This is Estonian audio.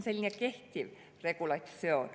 See on kehtiv regulatsioon.